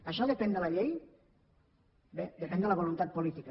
això depèn de la llei bé depèn de la voluntat política